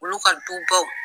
Olu ka dubaw